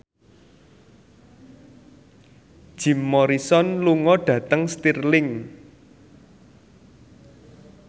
Jim Morrison lunga dhateng Stirling